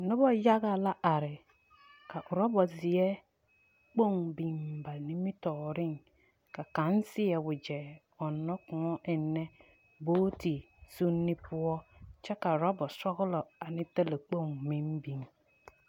Noba yaga la are ka oraba zeɛ kpoŋ biŋ ba nimtɔɔreŋ ka kaŋ seɛ wagyɛ ɔnnɔ kõɔ ennɛ booti suunni poɔ kyɛ ka oraba sɔgelɔ ane talakpoŋ meŋ biŋ.